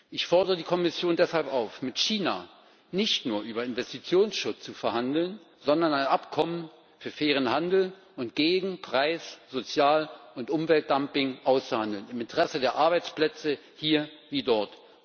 Ich fordere die Kommission deshalb auf, mit China nicht nur über Investitionsschutz zu verhandeln, sondern ein Abkommen für fairen Handel und gegen Preis Sozial und Umweltdumping auszuhandeln, im Interesse der Arbeitsplätze hier wie dort.